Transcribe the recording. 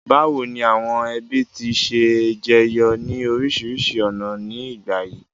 Bàwoni àwon ẹbí ti se n jeyo ni orísìrísi ọ̀nà ni ìgbà yìí?